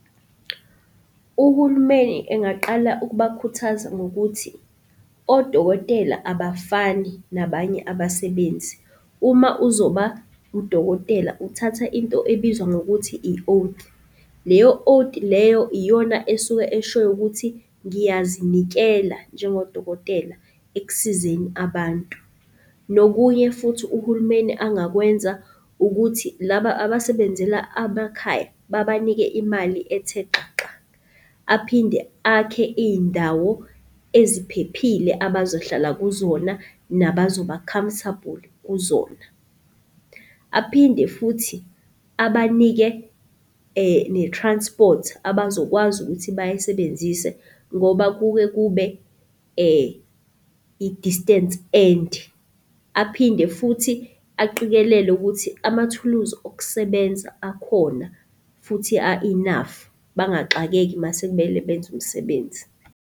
Uhulumeni engaqala ukubakhuthaza ngokuthi, odokotela abafani nabanye abasebenzi. Uma uzoba udokotela uthatha into ebizwa ngokuthi i-oath. Leyo oath leyo iyona esuke eshoyo ukuthi ngiyazinikela njengodokotela ekusizeni abantu. Nokunye futhi uhulumeni angakwenza ukuthi laba abasebenzela, abakhaya babanike imali ethe xaxa. Aphinde akhe iy'ndawo eziphephile abazohlala kuzona nabazoba-comfortable kuzona. Aphinde futhi abanike, ne-transport abazokwazi ukuthi bayisebenzise ngoba kube i-distance ende, aphinde futhi aqikelele ukuthi amathuluzi okusebenza akhona futhi a-enough bangaxakeki mase kumele benze umsebenzi.